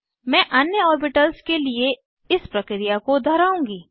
मैं अन्य ऑर्बिटल्स के लिए इस प्रक्रिया को दोहराऊँगी